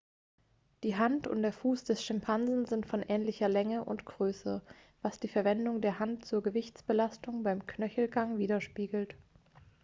die hand und der fuß des schimpansen sind von ähnlicher größe und länge was die verwendung der hand zur gewichtsbelastung beim knöchelgang widerspiegelt